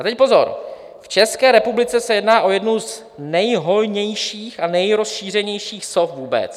A teď pozor: "V České republice se jedná o jednu z nejhojnějších a nejrozšířenějších sov vůbec.